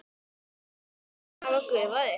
Atlot þín hafa gufað upp.